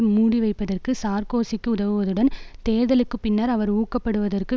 மூடிவைப்பதற்கு சார்க்கோசிக்கு உதவுவதுடன் தேர்தலுக்கு பின்னர் அவர் ஊக்கப்படுவதற்கு